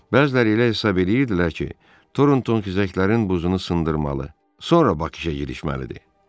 Bəziləri elə hesab eləyirdilər ki, Tornton xizəklərin buzunu sındırmalı, sonra Bakıya girişməlidir.